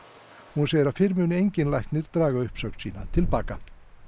hún segir að fyrr muni enginn læknir draga uppsögn sína til baka